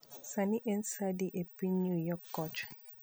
Sani en sa adi epiny new york kocha